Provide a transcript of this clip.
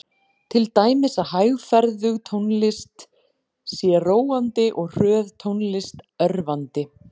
Til dæmis að hægferðug tónlist sé róandi og hröð tónlist örvandi.